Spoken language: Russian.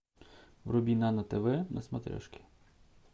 вруби нано тв на смотрешке